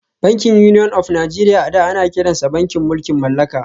Bankin Union of Nigeria a da ana kiransa da bankin mulkin mallaka